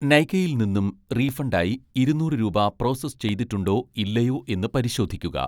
നൈകയിൽ നിന്നും റീഫണ്ടായി ഇരുനൂറ് രൂപ പ്രോസസ്സ് ചെയ്തിട്ടുണ്ടോ ഇല്ലയോ എന്ന് പരിശോധിക്കുക